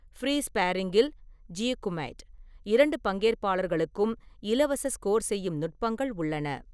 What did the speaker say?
Free ஸ்பேர்ரிங்கில் (jiyu kumite), இரண்டு பங்கேற்பாளர்களுக்கும் இலவச ஸ்கோர் செய்யும் நுட்பங்கள் உள்ளன.